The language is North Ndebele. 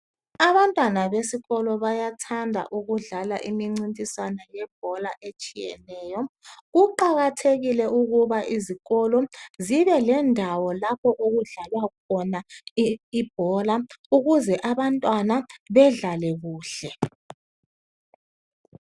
Abantwana besikolo bayathanda ukudlala imincintiswana yebhola etshiyeneyo, kuqakathekile ukuba izikolo zibe lendawo lapho okudlalwa khona ibhola ukuze abantwana bedlale kuhle.